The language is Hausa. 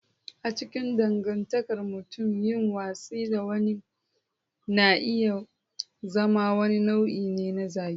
A cikin dangantakar mutum, yin watsi da wani na iya zama wani nau'i na zagi.